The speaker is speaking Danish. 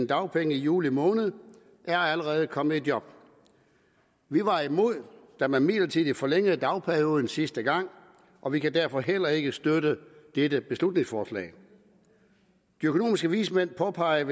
dagpenge i juli måned er allerede kommet i job vi var imod da man midlertidigt forlængede dagpengeperioden sidste gang og vi kan derfor heller ikke støtte dette beslutningsforslag de økonomiske vismænd påpeger